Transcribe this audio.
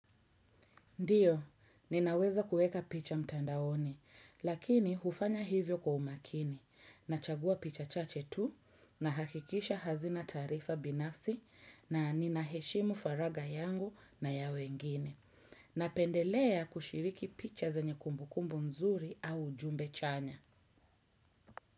Ndiyo, ninaweza kuweka picha mtandaoni, lakini hufanya hivyo kwa umakini. Nachagua picha chache tu nahakikisha hazina taarifa binafsi na ninaheshimu faraga yangu na ya wengine. Napendelea kushiriki picha zenye kumbukumbu nzuri au ujumbe chanya.